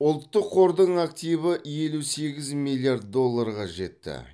ұлттық қордың активі елу сегіз миллиард долларға жетті